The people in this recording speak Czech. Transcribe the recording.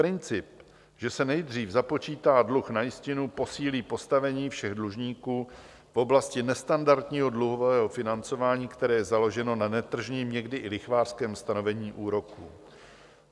Princip, že se nejdřív započítá dluh na jistinu, posílí postavení všech dlužníků v oblasti nestandardního dluhového financování, které je založeno na netržním, někdy i lichvářském stanovení úroků.